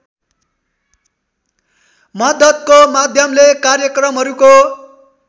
मद्दतको माध्यमले कार्यक्रमहरूको